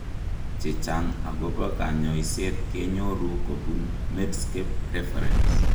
Chechang' akobo kanyoiset kenyoru kobun Medscape reference .